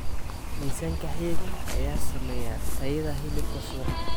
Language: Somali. Miisaanka hilibka ayaa saameeya tayada hilibka suuqa.